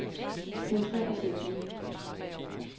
Centrer sætning.